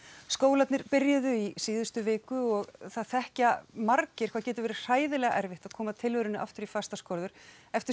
skólarnir byrjuðu í síðustu viku og það þekkja margir hvað getur verið hræðilega erfitt að koma tilverunni aftur í fastar skorður eftir